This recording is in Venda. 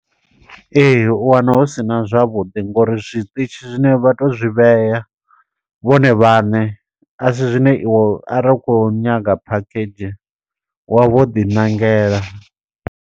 Ee u wana hu sina zwavhuḓi ngo uri zwiṱitshi zwine vha tou zwi vhea, vhone vhaṋe. Asi zwine iwe arali u kho nyaga phakhedzhi wa vho ḓi ṋangela.